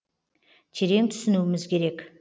терең түсінуіміз керек